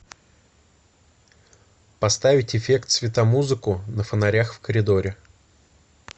поставить эффект светомузыку на фонарях в коридоре